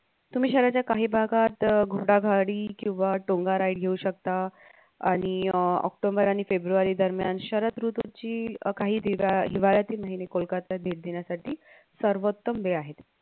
तुम्ही शहराच्या काही भागात अह घोडागाडी किंवा टोंगा ride घेऊ शकता आणि अं OCTOBER आणि FEBRUARY दरम्यान शरद ऋतूची अह काही हिवाळ्यातील महिने कोलकत्ता दिन दिनासाठी सर्वोत्तम वेळ आहे